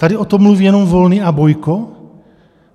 Tady o tom mluví jenom Volný a Bojko?